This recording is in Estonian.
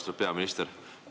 Austatud peaminister!